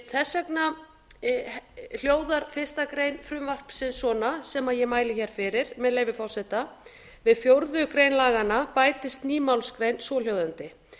þess vegna hljóðar fyrsta grein frumvarpsins svona sem ég mæli hér fyrir með leyfi forseta við fjórðu grein laganna bætist ný málsgrein svohljóðandi